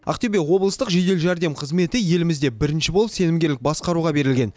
ақтөбе облыстық жедел жәрдем қызметі елімізде бірінші болып сенімгерлік басқаруға берілген